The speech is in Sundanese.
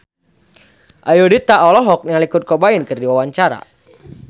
Ayudhita olohok ningali Kurt Cobain keur diwawancara